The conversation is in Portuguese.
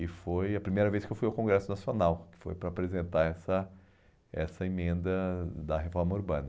E foi a primeira vez que eu fui ao Congresso Nacional, que foi para apresentar essa essa emenda da reforma urbana.